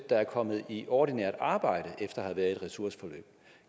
der er kommet i ordinært arbejde efter at have været i et ressourceforløb